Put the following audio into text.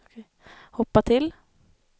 hoppa till